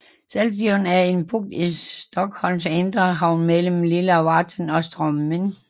Saltsjön er en bugt i Stockholms indre havn mellem Lilla Värtan og Strömmen